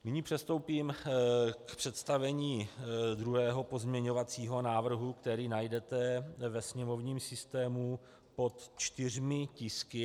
Nyní přistoupím k představení druhého pozměňovacího návrhu, který najdete ve sněmovním systému pod čtyřmi tisky.